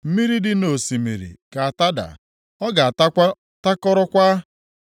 Mmiri dị nʼosimiri ga-atada; ọ ga-atakwa takọrọkwa.